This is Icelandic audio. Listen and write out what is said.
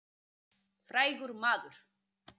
Styttan er af Jóni. Jón er frægur maður.